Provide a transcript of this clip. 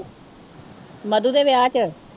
ਮਧੂ ਦੇ ਵਿਆਹ ਚ